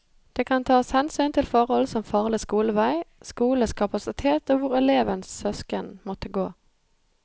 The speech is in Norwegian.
Det kan tas hensyn til forhold som farlig skolevei, skolenes kapasitet og hvor elevens søsken måtte gå.